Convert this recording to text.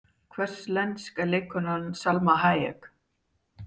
Hvers lensk er leikkonan Salma Hayek?